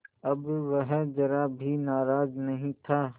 अब वह ज़रा भी नाराज़ नहीं था